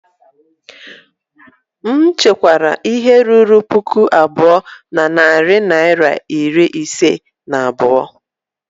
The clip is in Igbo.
M chekwara ihe ruru puku abụọ na narị naịra iri ise na abụọ